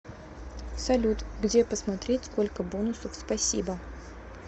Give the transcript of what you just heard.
салют где посмотреть сколько бонусов спасибо